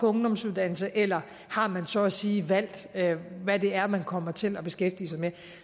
ungdomsuddannelse eller om man så at sige har valgt hvad det er man kommer til at beskæftige sig med